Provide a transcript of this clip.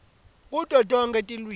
kuto tonkhe tilwimi